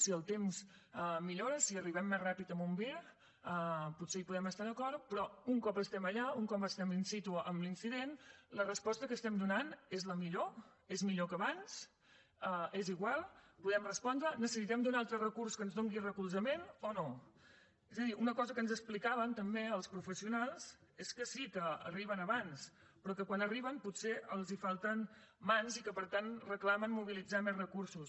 si el temps millora si arribem més ràpidament amb un vir potser hi podem estar d’acord però un cop estem allà un cop estem in situllor és millor que abans és igual podem respondre necessitem un altre recurs que ens doni recolzament o no és a dir una cosa que ens explicaven també els professionals és que sí que arriben abans però que quan arriben potser els falten mans i que per tant reclamen mobilitzar més recursos